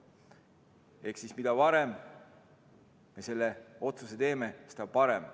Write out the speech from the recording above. Ehk mida varem me selle otsuse teeme, seda parem.